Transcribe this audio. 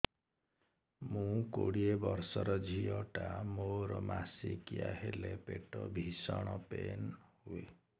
ମୁ କୋଡ଼ିଏ ବର୍ଷର ଝିଅ ଟା ମୋର ମାସିକିଆ ହେଲେ ପେଟ ଭୀଷଣ ପେନ ହୁଏ